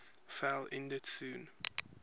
fell ended soon